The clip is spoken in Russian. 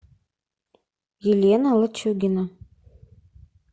елена лачугина